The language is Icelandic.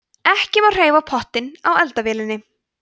ekki má hreyfa pottinn á eldavélinni